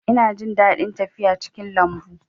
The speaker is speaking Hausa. Ina jin daɗin tafiya cikin lambu